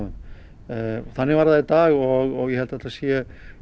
þannig var það í dag og ég held að þetta sé